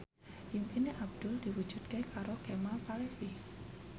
impine Abdul diwujudke karo Kemal Palevi